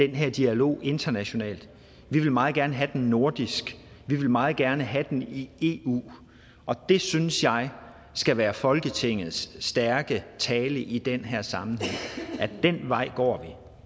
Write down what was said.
den her dialog internationalt vi vil meget gerne have den nordisk vi vil meget gerne have den i eu og det synes jeg skal være folketingets stærke tale i den her sammenhæng at den vej går